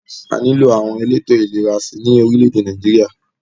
A nílò àwọn elétò ìlera sí i ní orílẹ̀-èdè Nàìjíríà